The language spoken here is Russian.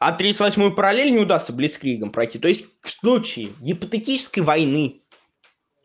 а тридцать восьмую параллель не удастся блицкригом пройти то есть в случае гипотетической войны